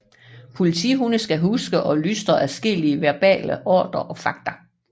Politihunde skal huske og lystre adskillige verbale ordre og fagter